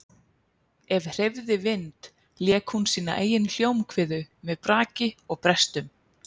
Ef hreyfði vind lék hún sína eigin hljómkviðu með braki og brestum.